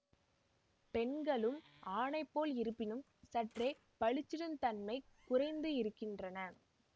பெண்களும் ஆணைப்போல் இருப்பினும் சற்றெ பளிச்சிடும் தன்மை குறைந்து இருக்கின்றன